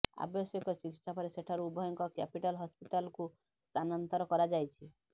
ଆବଶ୍ୟକ ଚିକିତ୍ସା ପରେ ସେଠାରୁ ଉଭୟଙ୍କୁ କ୍ୟାପିଟାଲ ହସପିଟାଲ୍କୁ ସ୍ଥାନାନ୍ତର କରାଯାଇଛି